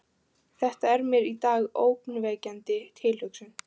Þetta er mér í dag ógnvekjandi tilhugsun.